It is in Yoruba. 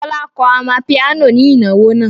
Fọlá kọ amapiano ní ìnáwó náà.